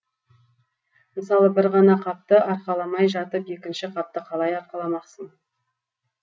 мысалы бір ғана қапты арқаламай жатып екінші қапты қалай арқаламақсың